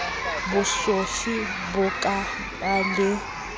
bosofe bo ka ba le